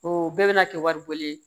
O bɛɛ bɛna kɛ wari bɔlen ye